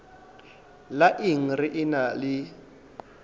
la eng re ena le